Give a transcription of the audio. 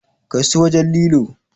Kai su wajen lilo!